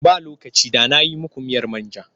Ba lokaci da na yi muku miyar man ja.